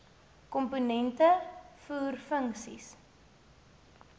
komponente voer funksies